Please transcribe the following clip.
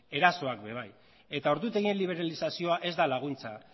erasoak ere bai eta ordutegien liberalizazioa ez da laguntza